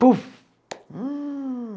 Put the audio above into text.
Puf!